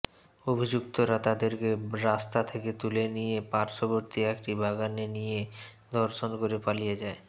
অভিযুক্তরা তাদেরকে রাস্তা থেকে তুলে নিয়ে পার্শ্ববর্তী একটি বাগানে নিয়ে ধর্ষণ করে পালিয়ে যায়